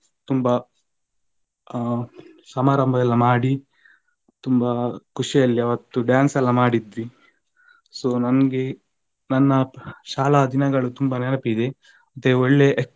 ತುಂಬಾ ಆ ಸಮಾರಂಭ ಎಲ್ಲ ಮಾಡಿ ತುಂಬಾ ಖುಷಿಯಲ್ಲಿ ಆವತ್ತು dance ಎಲ್ಲ ಮಾಡಿದ್ವಿ so ನನ್ಗೆ ನನ್ನಾ ಶಾಲಾ ದಿನಗಳು ತುಂಬಾ ನೆನಪಿದೆ ಮತ್ತೆ ಒಳ್ಳೆ